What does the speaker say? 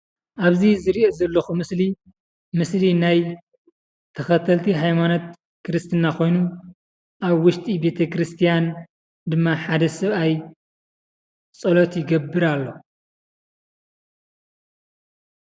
አብዚ ዝሪኦ ዘለኩ ምስሊ ምስሊ ናይ ተኸተልቲ ሃይማኖት ክርስትና ኮይኑ አብ ውሽጢ ቤተ ክርስቲያን ድማ ሓደ ሰብአይ ፀሎት ይገብር አሎ።